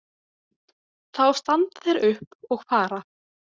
Þá standa þeir upp og fara.